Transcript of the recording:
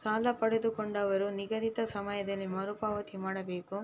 ಸಾಲ ಪಡೆದುಕೊಂಡವರು ನಿಗದಿತ ಸಮಯದಲ್ಲಿ ಮರುಪಾವತಿ ಮಾಡಬೇಕು